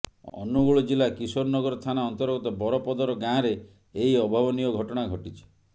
ଅନୁଗୁଳ ଜିଲ୍ଲା କିଶୋରନଗର ଥାନା ଅନ୍ତର୍ଗତ ବରପଦର ଗାଁରେ ଏହି ଅଭାବନୀୟ ଘଟଣା ଘଟିଛି